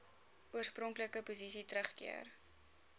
oorspronklike posisie teruggekeer